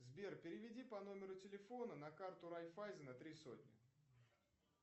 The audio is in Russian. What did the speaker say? сбер переведи по номеру телефона на карту райфайзена три сотни